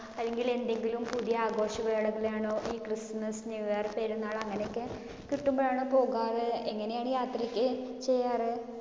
അല്ലെങ്കിൽ എന്തെങ്കിലും പുതിയ ആഘോഷവേളയിൽ ആണോ? ഈ ക്രിസ്റ്മസിനു വേര് പെരുനാൾ അങ്ങിനെയൊക്കെ കിട്ടുമ്പോഴാണോ പോകാറ്? എങ്ങിനെയാണ് യാത്രയൊക്കെ ചെയ്യാറ്?